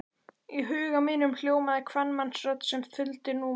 Í huga mínum hljómaði kvenmannsrödd sem þuldi númer.